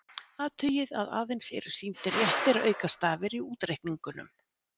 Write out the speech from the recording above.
Athugið að aðeins eru sýndir réttir aukastafir í útreikningunum.